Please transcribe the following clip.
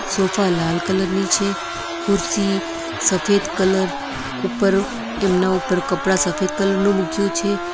Sofa લાલ colour ની છે ખુરશી સફેદ કલર ઉપર એમના ઉપર કપડા સફેદ કલર નું મૂક્યું છે.